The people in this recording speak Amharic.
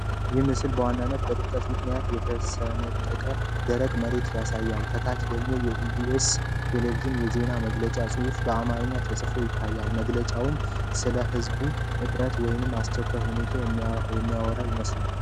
ይህ ምስል በዋናነት በድርቀት ምክንያት የተሰነጠቀች ደረቅ መሬት ያሳያል። ከታች ደግሞ የኢ.ቢ.ኤስ. (EBS) ቴሌቪዥን የዜና መግለጫ ፅሁፍ በአማርኛ ተጽፎ ይታያል። መግለጫውም ስለ ዝናብ እጥረት ወይም አስቸኳይ ሁኔታ የሚያወራ ይመስላል።